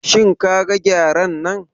Shin kaga Gyaren nan?